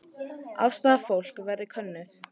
Afstaða fólks verði könnuð